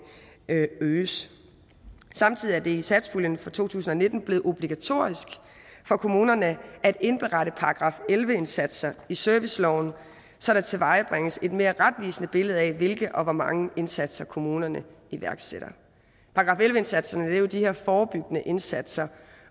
øges samtidig er det i satspuljen for to tusind og nitten blevet obligatorisk for kommunerne at indberette § elleve indsatser i serviceloven så der tilvejebringes et mere retvisende billede af hvilke og hvor mange indsatser kommunerne iværksætter § elleve indsatserne er jo de her forebyggende indsatser